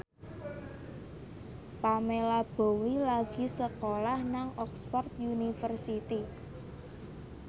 Pamela Bowie lagi sekolah nang Oxford university